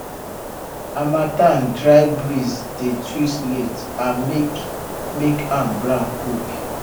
harmattan dry breeze dey twist leaf and make make am brown quick